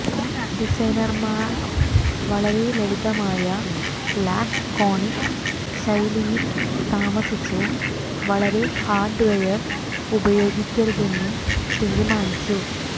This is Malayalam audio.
ഡിസൈനർമാർ വളരെ ലളിതമായ ലാക്ക്കോണിക് ശൈലിയിൽ താമസിച്ച് വളരെ ഹാർഡ്വെയർ ഉപയോഗിക്കരുതെന്നും തീരുമാനിച്ചു